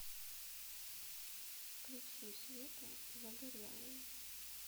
включи свету загорелые